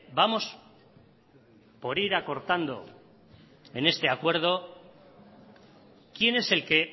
vamos por ir acortando en este acuerdo quién es el que